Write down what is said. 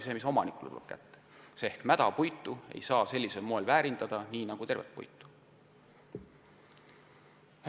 Mädapuitu ei saa sellisel moel väärindada nagu tervet puitu.